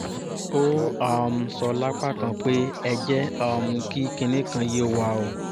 ó um sọ lápá kan pé ẹ jẹ́ um kí kinní kan yé wa o